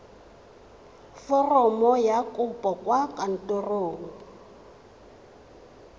foromo ya kopo kwa kantorong